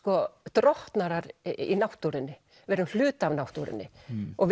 drottnarar í náttúrunni við erum hluti af náttúrunni og